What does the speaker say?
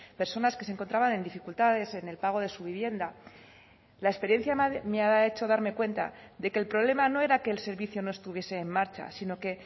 personas que se encontraban en dificultades en el pago de su vivienda la experiencia me ha hecho darme cuenta de que el problema no era que el servicio no estuviese en marcha sino que